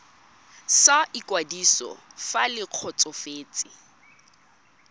sa ikwadiso fa le kgotsofetse